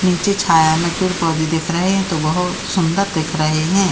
नीचे छाया मे पेड़ पौधे दिख रहे हैं तो बोहत सुंदर दिख रहे हैं ।